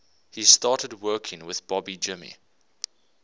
he started working with bobby jimmy